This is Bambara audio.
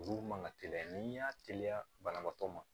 Olu man ka teliya n'i y'a teliya banabaatɔ ma